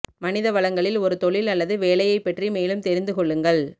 மனித வளங்களில் ஒரு தொழில் அல்லது வேலையைப் பற்றி மேலும் தெரிந்து கொள்ளுங்கள்